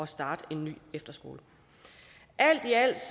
starte en ny efterskole alt i alt